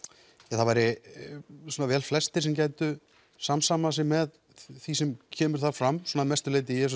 það væru velflestir sem gætu samsamað sér með því sem kemur þar fram svona að mestu leyti ég